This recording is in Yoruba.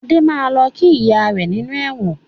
Adé máa lọ kí ìyá rẹ nínú ẹ̀wọ̀n